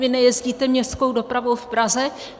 Vy nejezdíte městskou dopravou v Praze?